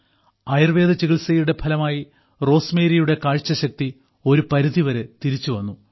ആയുർവേദ ചികിത്സയുടെ ഫലമായി റോസ്മേരിയുടെ കാഴ്ചശക്തി ഒരു പരിധിവരെ തിരിച്ചുവന്നു